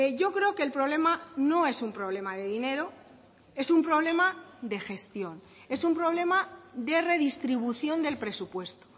yo creo que el problema no es un problema de dinero es un problema de gestión es un problema de redistribución del presupuesto